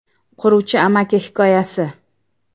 Quruvchi amaki hikoyasi.